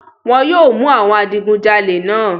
Wọn yóò mú àwọn àwọn adigunjalè náà.